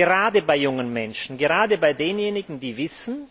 Gerade bei jungen Menschen, gerade bei denjenigen, die wissen,